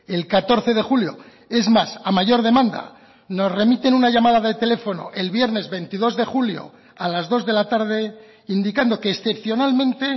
el catorce de julio es más a mayor demanda nos remiten una llamada de teléfono el viernes veintidós de julio a las dos de la tarde indicando que excepcionalmente